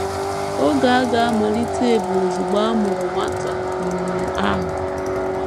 Oge aga - amalite bụ ozugbo a mụrụ nwata um ahụ.